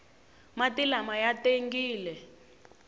mati lama ya tengile